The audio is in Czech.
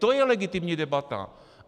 To je legitimní debata!